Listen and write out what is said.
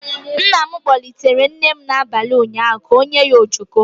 Nna m kpọlitere nne m abalị ụnyaahụ ka ọ yere ojoko.